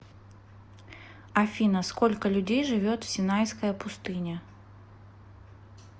афина сколько людей живет в синайская пустыня